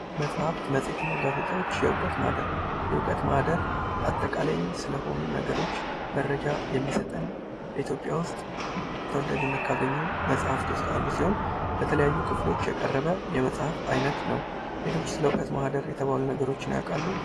መጻሕፍት ፣ መጽሄት እና ጋዜጣዎች፦ የእውቀት ማህደር ፦ የእውቀት ማህደር አጠቃላይ ስለሆኑ ነገሮች መረጃ የሚሰጠን ፣ በኢትዮጵያ ውስጥ ተወዳጅነት ካገኙ መፅሕፍት ውስጥ አንዱ ሲሆን በተለያዩ ክፍሎች የቀረበ የመጽሐፍ አይነት ነው ። ሌሎች ስለ እውቀት ማህደር የተባሉ ነገሮችን ያውቃሉ ?